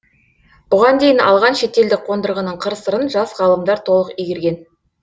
бұған дейін алған шетелдік қондырғының қыр сырын жас ғалымдар толық игерген